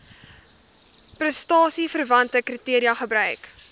prestasieverwante kriteria gebruik